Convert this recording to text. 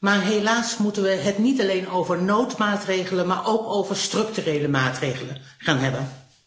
Maar helaas moeten we het niet alleen over noodmaatregelen, maar ook over structurele maatregelen gaan hebben.